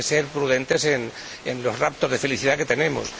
Hay que ser prudentes en los raptos de felicidad que tenemos.